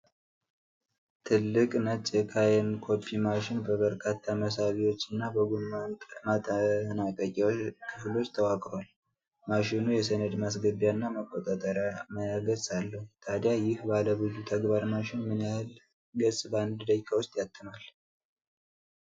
ትልቅ ነጭ የካኖን ኮፒ ማሽን በበርካታ መሳቢያዎች እና በጎን ማጠናቀቂያ ክፍሎች ተዋቅሯል። ማሽኑ የሰነድ ማስገቢያና መቆጣጠሪያ ማያ ገጽ አለው። ታዲያ ይህ ባለብዙ-ተግባር ማሽን ምን ያህል ገጽ በአንድ ደቂቃ ውስጥ ያትማል?